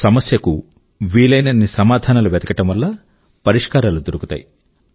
సమస్య కు వీలయినన్ని సమాధానాలు వెతకడం వల్ల సమస్యల కు పరిష్కారాలు దొరుకుతాయి